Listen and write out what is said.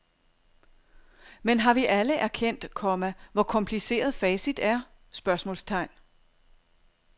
Men har vi alle erkendt, komma hvor kompliceret facit er? spørgsmålstegn